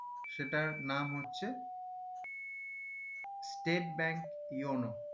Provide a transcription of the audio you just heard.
সেটার নাম হচ্ছে state bank uno